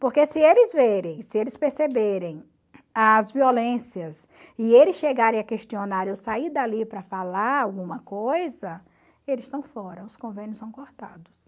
Porque se eles verem, se eles perceberem as violências e eles chegarem a questionarem, ou sair dali para falar alguma coisa, eles estão fora, os convênios são cortados.